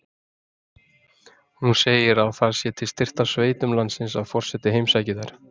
Hún segir að það sé til styrktar sveitum landsins að forseti heimsæki þær.